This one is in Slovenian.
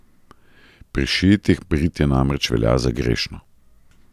Pri šiitih britje namreč velja za grešno.